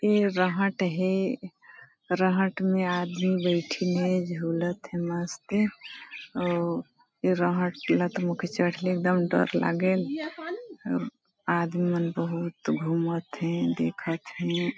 ये रहट है रहट में आदमी बैठीने झोलत है मस्त और ये रहट लत मुख चढ़ले एकदम डर लागेल आदमी मन बहुत घूमत थे देखते हैं।